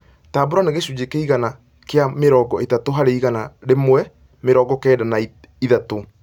tambũra nĩ gĩcũnjĩ kĩigana kia mĩrongo ĩtatũ hari igana rĩmwe mĩrongo kenda na ĩtatũ